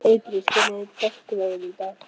Hergils, hvernig er dagskráin í dag?